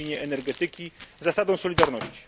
w dziedzinie energetyki, zasadą solidarności.